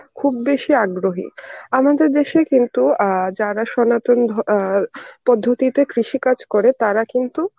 খুব বেশি আগ্রহী. আমাদের দেশেই কিন্তু অ্যাঁ যারা সনাতন ধ~ অ্যাঁ পদ্ধতিতে কৃষি কাজ করে তারা কিন্তু